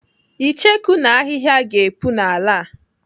Icheku na ahịhịa ga-epu n'ala a.